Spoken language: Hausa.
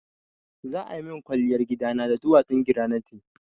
Za a min kwalliyar gidana da duwatsun granite.